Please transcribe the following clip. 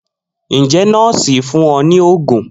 Njẹ nọọsi fun ọ ni oogun?